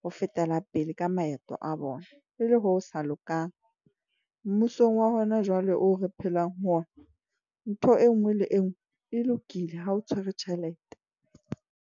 ho fetela pele ka maeto a bona. E le ho sa lokang mmusong wa hona jwale o re phelang ho ona. Ntho e nngwe le e nngwe e lokile ha o tshwere tjhelete.